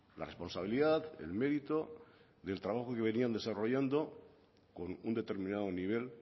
la responsabilidad el mérito del trabajo que venían desarrollando con un determinado nivel